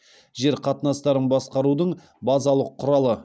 жер қатынастарын басқарудың базалық құралы